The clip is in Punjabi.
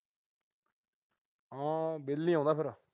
ਹਾਂ। ਬਿੱਲ ਨੀ ਆਉਂਦਾ ਫਿਰ।